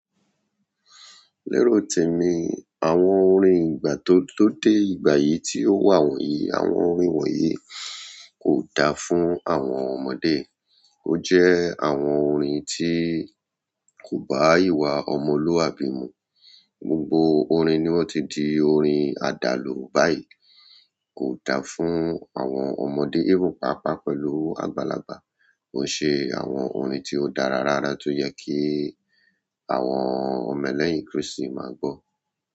Léro temí, àwọn orin ìgbà tó, tó dé ìgbà yìí tí ó wà wọ̀nyí, àwọn orin wọ̀nyí ko da fún àwọn ọmọdé. O je àwọn orin ti ko ba ìwà omoluabi mu. Gbogbo orin ni won ti di orin adalu báyìí. Kò da fún àwọn ọmọdé, èven paapaa pẹ̀lú àgbàlagbà. Ko ṣe àwọn orin tí ó dára rárá tó yẹ kí àwọn ọmọ lẹ́yìn Kristi máa gbọ́.